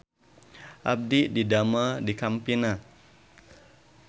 Abdi didamel di Campina